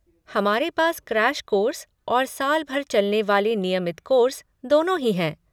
हमारे पास crash course और साल भर चलने वाले नियमित कोर्स दोनों ही हैं।